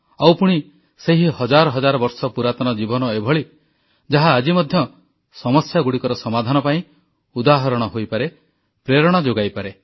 ଆଉ ପୁଣି ସେହି ହଜାର ହଜାର ବର୍ଷ ପୁରାତନ ଜୀବନ ଏହିଭଳି ଯାହା ଆଜି ମଧ୍ୟ ସମସ୍ୟାଗୁଡ଼ିକର ସମାଧାନ ପାଇଁ ଉଦାହରଣ ହୋଇପାରେ ପ୍ରେରଣା ଯୋଗାଇପାରେ